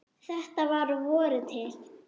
Þetta var að vori til.